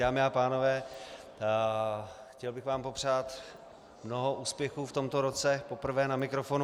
Dámy a pánové, chtěl bych vám popřát mnoho úspěchů v tomto roce, poprvé na mikrofonu.